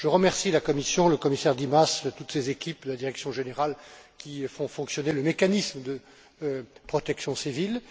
Je remercie la Commission, le commissaire Dimas et toutes ses équipes de la direction générale qui font fonctionner le mécanisme de protection civile.